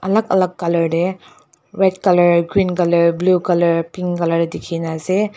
alak alak color tey red color green color blue color pink color tey dikhina ase.